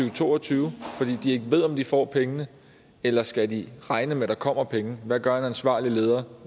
og to og tyve fordi de ikke ved om de får pengene eller skal de regne med at der kommer penge hvad gør en ansvarlig leder